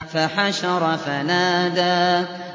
فَحَشَرَ فَنَادَىٰ